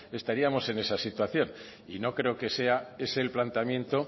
estaríamos en esa situación y no creo que sea ese el planteamiento